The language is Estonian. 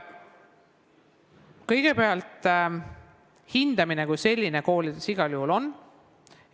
Kõigepealt, hindamine kui selline koolides igal juhul on.